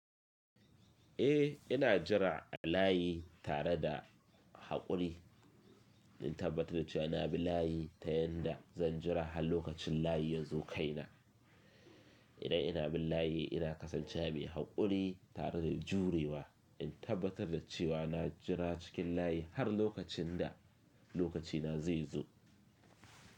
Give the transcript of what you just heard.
Eh, ina jira a layi tare da haƙuri. In tabbatar da cewa ina bi layi ta yanda zan jira har lokacin layi ya zo kaina. Idan ina bin layi, ina kasancewa mai haƙuri tare da jurewa, in tabbatar da cewa na jira cikin layi har lokacin da lokacina zai zo.